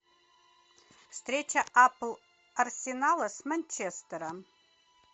встреча апл арсенала с манчестером